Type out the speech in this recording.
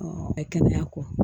kɛnɛya kɔ